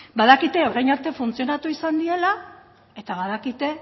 badakite orain arte funtzionatu izan diela eta badakite